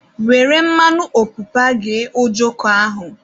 Were mmanụ ọpụpa ghee ojoko ahụ